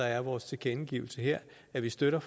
er vores tilkendegivelse her at vi støtter